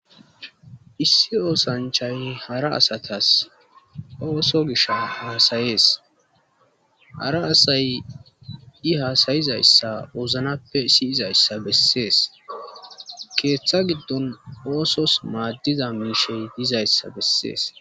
Issi oosanchay hara asatas ooso gish hasayees hara asay i haasayizayssa ooznappe siyizayssa bessees keeththa giddon oosos maaddiza miishey dizayssa bessees.